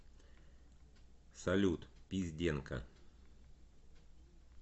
салют пизденка